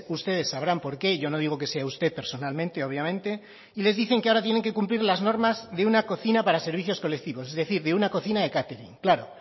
ustedes sabrán por qué yo no digo que sea usted personalmente obviamente y les dicen que ahora tienen que cumplir las normas de una cocina para servicios colectivos es decir de una cocina de catering claro